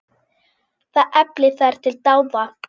Það efli þær til dáða.